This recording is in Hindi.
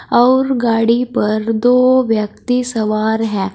और गाड़ी पर दो व्यक्ति सवार हैं।